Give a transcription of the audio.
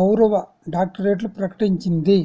గౌరవ డాక్టరేట్లు ప్రకటించింది